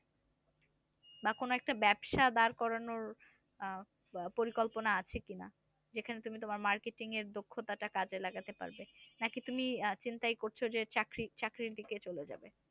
বা কোন একটা ব্যবসা দাঁড় করানোর আহ পরিকল্পনা আছে কিনা? যেখানে তুমি তোমার marketing র দক্ষতা টা কাজে লাগাতে পারবে। নাকি তুমি চিন্তাই করছে চাকরি চাকরির দিকে চলে যাবে?